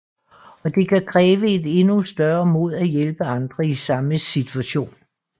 Og det kan kræve et endnu større mod at hjælpe andre i samme situation